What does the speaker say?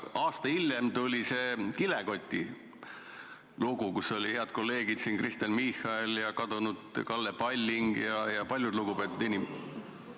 Aasta hiljem tuli see kilekoti lugu, millega meenuvad hea kolleeg siin saalis Kristen Michael ja kadunud Kalle Palling ja paljud teised lugupeetud inimesed ...